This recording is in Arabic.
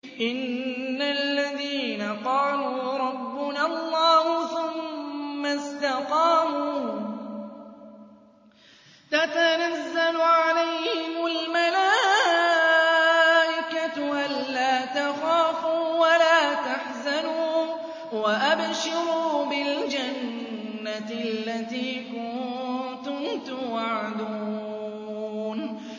إِنَّ الَّذِينَ قَالُوا رَبُّنَا اللَّهُ ثُمَّ اسْتَقَامُوا تَتَنَزَّلُ عَلَيْهِمُ الْمَلَائِكَةُ أَلَّا تَخَافُوا وَلَا تَحْزَنُوا وَأَبْشِرُوا بِالْجَنَّةِ الَّتِي كُنتُمْ تُوعَدُونَ